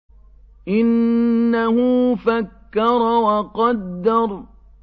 إِنَّهُ فَكَّرَ وَقَدَّرَ